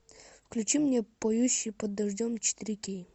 включи мне поющие под дождем четыре кей